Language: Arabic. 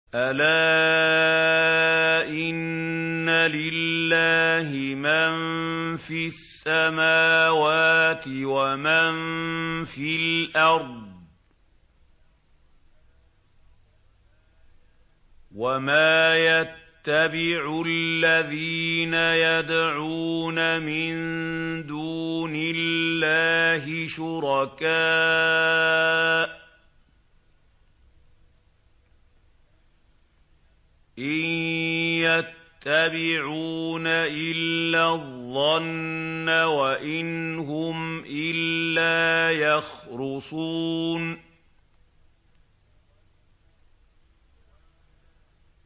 أَلَا إِنَّ لِلَّهِ مَن فِي السَّمَاوَاتِ وَمَن فِي الْأَرْضِ ۗ وَمَا يَتَّبِعُ الَّذِينَ يَدْعُونَ مِن دُونِ اللَّهِ شُرَكَاءَ ۚ إِن يَتَّبِعُونَ إِلَّا الظَّنَّ وَإِنْ هُمْ إِلَّا يَخْرُصُونَ